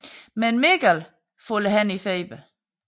Men Mikkel falder hen i feber